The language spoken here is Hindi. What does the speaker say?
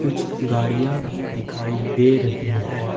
कुछ गाड़ियां भी दिखाई दे रही हैं।